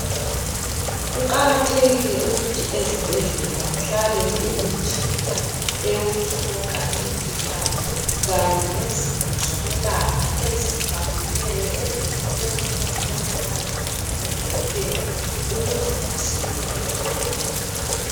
Kuqakathekile ukuthi ezibhedlela kuhlale kulemitshina eyokuhlola imikhuhlane Kanye lezinto zokwelapha ezifaneleyo ezokusetshenziswa ngomongikazi kanye labo dokotela ukuze basize izigulane.